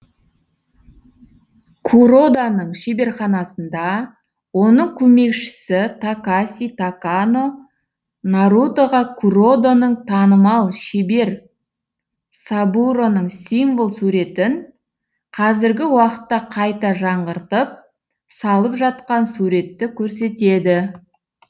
куроданың шеберханасында оның көмекшісі такаси такано нарутоға куродоның танымал шебер сабуроның символ суретін қазіргі уақытта қайта жаңғыртып салып жатқан суретті көрсетеді